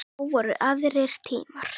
Þá voru aðrir tímar.